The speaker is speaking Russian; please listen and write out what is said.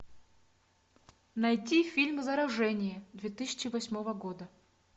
найти фильм заражение две тысячи восьмого года